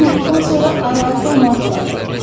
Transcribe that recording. Günortadan sonra arvad da onu axtarır.